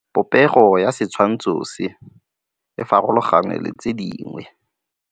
Popêgo ya setshwantshô se, e farologane le tse dingwe.